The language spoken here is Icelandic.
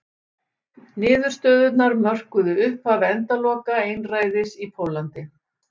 niðurstöðurnar mörkuðu upphaf endaloka einræðis í póllandi